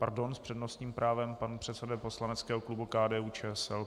Pardon, s přednostním právem pan předseda poslaneckého klubu KDU-ČSL.